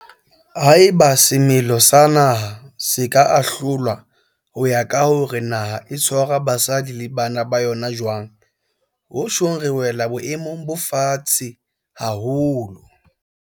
Haeba semelo sa naha se ka ahlolwa ho ya ka hore na naha e tshwara basadi le bana ba yona jwang, ho tjhong re wela boemong bo fatshefatshe haholo.